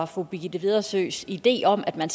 for birgitte vedersøs idé om at man